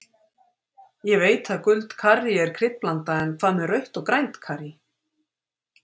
Ég veit að gult karrí er kryddblanda en hvað með rautt og grænt karrí.